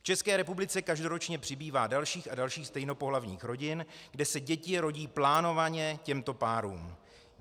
V České republice každoročně přibývá dalších a dalších stejnopohlavních rodin, kde se děti rodí plánovaně těmto párům.